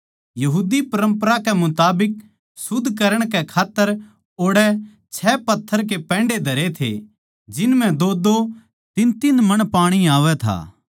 यहूदी परम्परा के मुताबिक शुद्ध करण कै खात्तर ओड़ै छः पत्थर के पैण्डे धरे थे जिन म्ह दोदो तीनतीन मण पाणी आवै था